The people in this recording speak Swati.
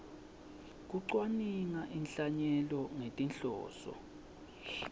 kucwaninga inhlanyelo ngetinhloso